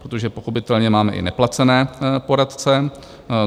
Protože pochopitelně máme i neplacené poradce.